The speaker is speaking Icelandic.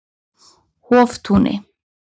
Hoftúni